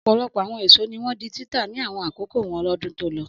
Ọ̀pọ̀lọpọ̀ àwọn èso ní wọ́n di títà ní àwọn àkókò wọn lọ́dún tó lọ.